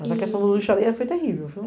Mas a questão do lixo ali foi terrível.